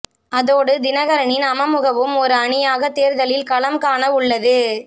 அதோடு தினகரனின் அமமுகவும் ஒரு அணியாக தேர்தலில் களம் காண வுள்ளது